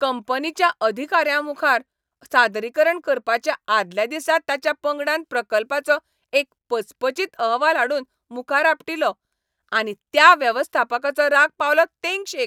कंपनीच्या अधिकाऱ्यांमुखार सादरीकरण करपाच्या आदल्या दिसा ताच्या पंगडान प्रकल्पाचो एक पचपचीत अहवाल हाडून मुखार आपटिलो. आनी त्या वेवस्थापकाचो राग पावलो तेंगशेक.